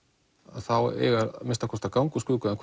þá eiga að minnsta kosti að ganga úr skugga um